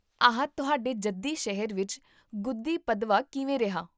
ਆਹ, ਤੁਹਾਡੇ ਜੱਦੀ ਸ਼ਹਿਰ ਵਿੱਚ ਗੁੱਧੀ ਪਦਵਾ ਕਿਵੇਂ ਰਿਹਾ?